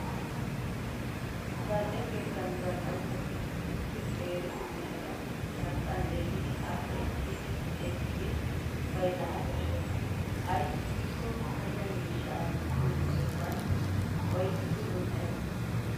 Zal''e keettan zal'anchchatu issi qeeri miishata shanxxan yeggidi appe ekki ekkidi bayzzana koshshes. Ayssi giikko payya miishshaa wottiyo sohuwan oyqqidi un''ees